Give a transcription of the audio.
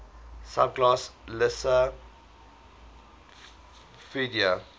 subclass lissamphibia